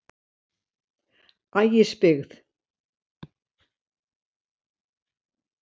Ægisbyggð